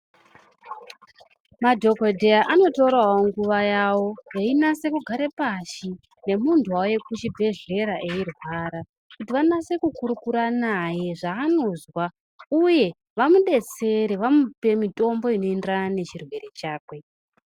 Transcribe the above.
Madhokodheya anotorao nguwa yavo einase kugare pashi nemunthu wauye kuchibhedhlera eirwara kuti vanase kukurukura naye zvaanozwa uye vamudetsere vamupe mitombo inoenderana nechirwere chakwe.